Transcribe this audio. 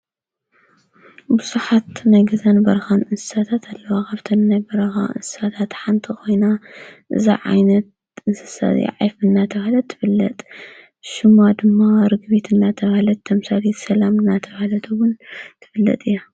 ብዙሓት ናይ ገዛን በረካን እንስሳታት አለዋ ካብተን ናይ በረካ እንስሳታት ሓንቲ ኮይና እዛ ዓይነት እንስሳ እዚአ ዒፍ እናተባሃለት ትፍለጥ። ሽማ ድማ ርግቢት እናተበሃለት ተምሳሌት ሰላም እናተባሃለት እውን ትፍለጥ እያ ።